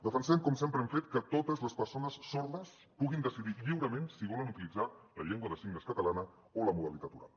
defensem com sempre hem fet que totes les persones sordes puguin decidir lliurement si volen utilitzar la llengua de signes catalana o la modalitat oral